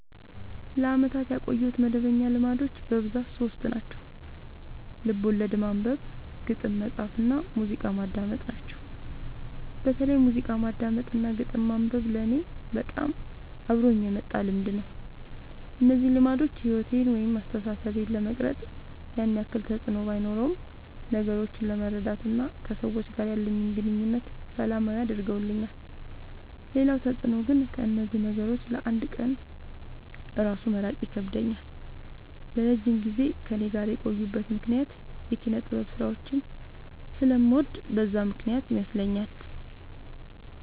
ለአመታት ያቆየሁት መደበኛ ልማዶች በብዛት ሶስት ናቸው። ልቦለድ ማንበብ፣ ግጥም መፃፍ እና ሙዚቃ ማዳመጥ ናቸው። በተለይ ሙዚቃ ማዳመጥ እና ግጥም ማንበብ ለኔ በጣም አብሮኝ የመጣ ልምድ ነው። እነዚህ ልማዶች ሕይወቴን ወይም አስተሳሰቤን ለመቅረጽ ያን ያክል ተፅዕኖ ባኖረውም ነገሮችን ለመረዳት እና ከሰዎች ጋር ያለኝን ግንኙነት ሰላማዊ አድርገውልኛል ሌላው ተፅዕኖ ግን ከእነዚህ ነገሮች ለ አንድ ቀን እራሱ መራቅ ይከብደኛል። ለረጅም ጊዜ ከእኔ ጋር የቆዩበት ምክንያት የኪነጥበብ ስራዎችን ስለምወድ በዛ ምክንያት ይመስለኛል።